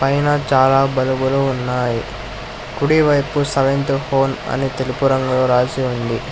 పైన చాలా బలుబులు ఉన్నాయి కుడి వైపు సెవెంత హోమ్ అని తెలుపు రంగులో రాసి ఉంది.